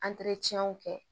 kɛ